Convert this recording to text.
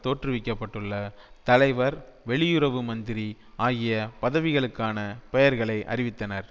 தோற்றுவிக்க பட்டுள்ள தலைவர் வெளியுறவு மந்திரி ஆகிய பதவிகளுக்கான பெயர்களை அறிவித்தனர்